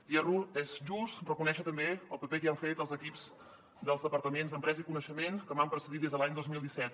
i és just reconèixer també el paper que hi han tingut els equips dels departaments d’empresa i coneixement que m’han precedit des de l’any dos mil disset